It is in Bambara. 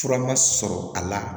Fura ma sɔrɔ a la